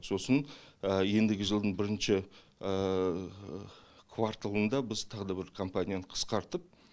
сосын ендігі жылдың бірінші кварталында біз тағы да бір компанияны қысқартып